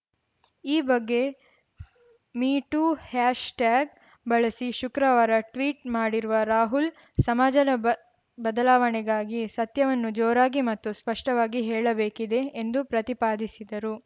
ಈ ಬಗ್ಗೆ me too hashtag ಬಳಸಿ ಶುಕ್ರವಾರ ಟ್ವೀಟ್‌ ಮಾಡಿರುವ ರಾಹುಲ್‌ ಸಮಾಜದ ಬದಲಾವಣೆಗಾಗಿ ಸತ್ಯವನ್ನು ಜೋರಾಗಿ ಮತ್ತು ಸ್ಪಷ್ಟವಾಗಿ ಹೇಳಬೇಕಿದೆ ಎಂದು ಪ್ರತಿಪಾದಿಸಿದರು